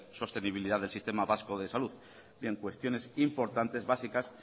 sostenibilidad del sistema vasco de salud bien cuestiones importantes básicas